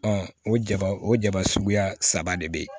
o jaba o jaba suguya saba de be yen